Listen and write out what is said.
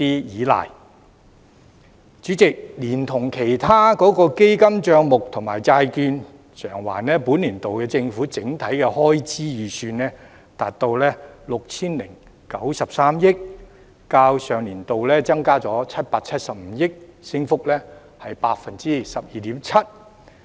代理主席，連同其他基金帳目及債券償還，本年度的政府整體開支預算，達到 6,093 億元，較上年度增加了775億元，升幅為 12.7%。